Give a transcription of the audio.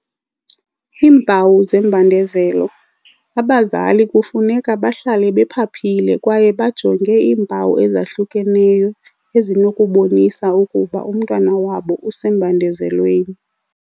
Iimpawu zembandezelo. Abazali kufuneka bahlale bephaphile kwaye bajonge iimpawu ezahlukeneyo ezinokubonisa ukuba umntwana wabo usembandezelweni.